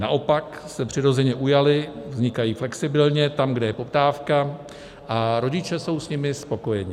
Naopak se přirozeně ujaly, vznikají flexibilně tam, kde je poptávka, a rodiče jsou s nimi spokojeni.